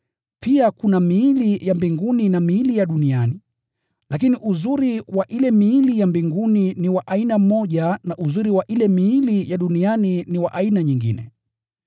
Pia kuna miili ya mbinguni na miili ya duniani, lakini fahari wa ile miili ya mbinguni ni wa aina moja na fahari wa ile miili ya duniani ni wa aina nyingine.